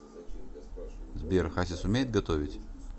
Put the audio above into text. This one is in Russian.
сбер хасис умеет готовить